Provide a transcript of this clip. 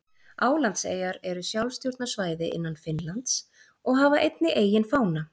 Álandseyjar eru sjálfstjórnarsvæði innan Finnlands og hafa einnig eigin fána.